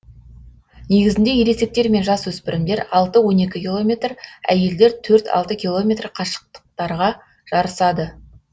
негізінде ересектер мен жас өспірімдер алты он екі километр әйелдер төрт алты километр қашықтықтарға жарысады